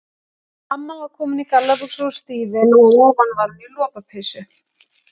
Amma var komin í gallabuxur og stígvél og að ofan var hún í lopapeysu.